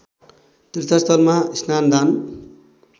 तीर्थस्थलमा स्नान दान